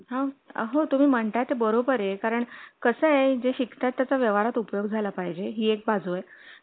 जर मुल आजारी असतील साधं सर्दी खोकला असेल तर पाठवू नका मुलांकडे एक्स्ट्रार्मस्क पाठवा कारण की एखादा मास्क पडू शकतो खाताना वगैरे किंवा मूल मस्ती करतात.